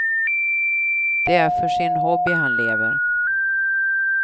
Det är för sin hobby han lever.